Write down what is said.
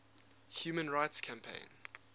human rights campaign